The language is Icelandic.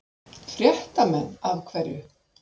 Fréttamenn: Af hverju?